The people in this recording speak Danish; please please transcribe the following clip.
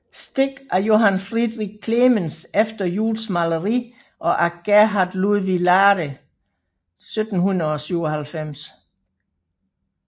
Stik af Johann Friderich Clemens efter Juels maleri og af Gerhard Ludvig Lahde 1797